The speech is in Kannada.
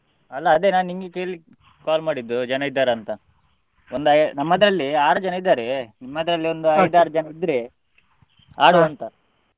ಅಲ್ಲಾ ಅದೇ ನಾನ್ ನಿನ್ಗೆ ಕೇಳಿಕ್ಕ್ call ಮಾಡಿದ್ದು ಜನ ಇದ್ದಾರಂತ ನಮ್ದ~ ನಮ್ಮದ್ರಲ್ಲಿ ಆರು ಜನ ಇದ್ದಾರೆ ನಿಮ್ಮದ್ರಲ್ಲಿ ಒಂದು ಐದಾರು ಜನ ಇದ್ರೆ .